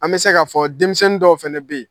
An bɛ se k k'a fɔ denmisɛnnin dɔw fana bi yen.